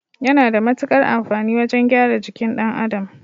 Yana da mutukar amfani wajan gyara jikin ɗan Adam